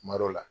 Kuma dɔ la